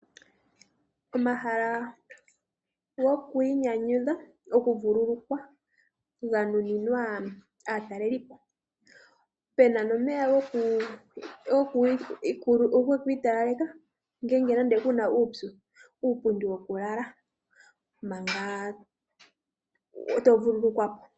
Omahala gokwiinyanyudha, okuvululukwa ga nuninwa aatalelipo. Pena nomeya gokwiitalaleka ngeenge nande kuna uupyu, nuupundi wokulala manga to vulukwa po.